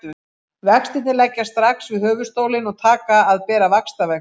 Vextirnir leggjast strax við höfuðstólinn og taka að bera vaxtavexti.